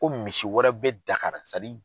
Ko misi wɛrɛ be dakarara